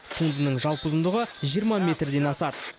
туындының жалпы ұзындығы жиырма метрден асады